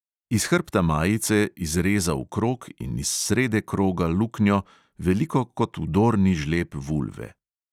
Iz hrbta majice izrezal krog in iz srede kroga luknjo, veliko kot vdorni žleb vulve.